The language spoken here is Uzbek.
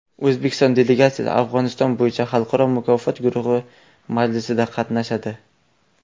O‘zbekiston delegatsiyasi Afg‘oniston bo‘yicha Xalqaro muloqot guruhi majlisida qatnashadi.